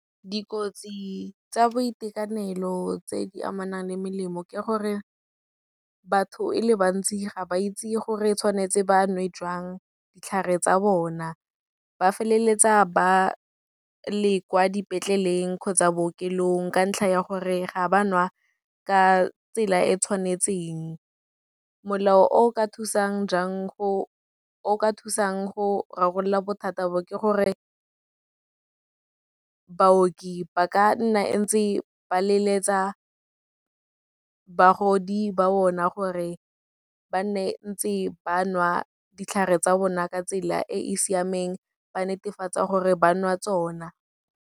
Dikotsi tsa boitekanelo tse di amanang le melemo ke gore, batho e le bantsi ga ba itse gore tshwanetse ba nwe jang ditlhare tsa bona, ba feleletsa ba le kwa dipetleleng kgotsa bookelong, ka ntlha ya gore ga ba nwe ka tsela e tshwanetseng. Molao o ka thusang go rarabolola bothata bo ke gore, baoki ba ka nna e ntse ba leletsa bagodi ba bona, gore ba nne ntse ba nwa ditlhare tsa bona, ka tsela e e siameng, ba netefatsa gore ba nwa tsona.